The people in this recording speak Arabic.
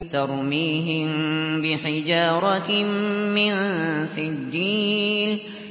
تَرْمِيهِم بِحِجَارَةٍ مِّن سِجِّيلٍ